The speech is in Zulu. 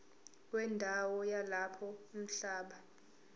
wendawo yalapho umhlaba